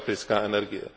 elektrická energie.